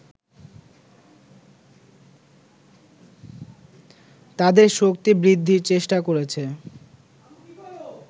তাদের শক্তি বৃদ্ধির চেষ্টা করছে